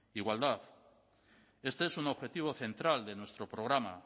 igualdad este es un objetivo central de nuestro programa